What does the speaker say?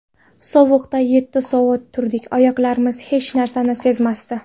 Sovuqda yetti soat turdik, oyoqlarimiz hech narsani sezmasdi.